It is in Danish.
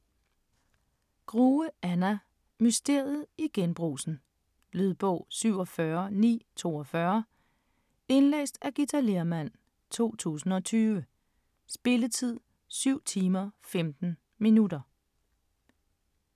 Grue, Anna: Mysteriet i Genbrugsen Lydbog 47942 Indlæst af Githa Lehrmann, 2020. Spilletid: 7 timer, 15 minutter.